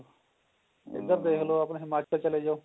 ਏਧਰ ਦੇਖਲੋ ਆਪਣੇ ਹਿਮਾਚਲ ਚਲੇ ਜਾਓ